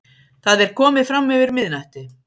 Það er komið framyfir miðnætti.